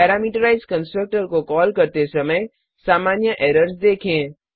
parameterised constructor को call करते समय सामान्य एरर्स देखें